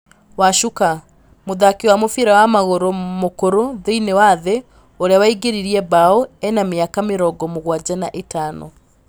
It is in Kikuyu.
Wacuka: mũthaki wa mũbira wa magũrũ mũkũrũ thĩinĩi wa thĩ ũrĩa waingĩririe mbao ena mĩaka mĩrongo mũgwanja na ĩtano.